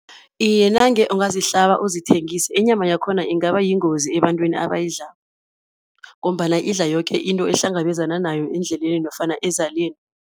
Iye, nange ungazihlaba uzithengise, inyama yakhona ingaba yingozi ebantwini abayidlako ngombana idla yoke into ehlangabezana nayo endleleni nofana ezaleni.